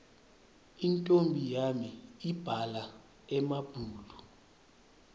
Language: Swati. intfombi yami ibhala emabhulu